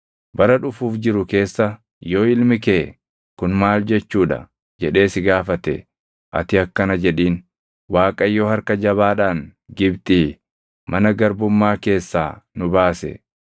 “Bara dhufuuf jiru keessa yoo ilmi kee, ‘Kun maal jechuu dha?’ jedhee si gaafate ati akkana jedhiin; ‘ Waaqayyo harka jabaadhaan Gibxii, mana garbummaa keessaa nu baase.